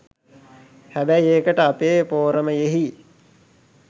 හැබැයි ඒකට අපේ පෝරමයෙහි